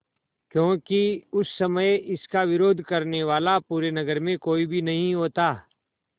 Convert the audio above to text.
क्योंकि उस समय इसका विरोध करने वाला पूरे नगर में कोई भी नहीं होता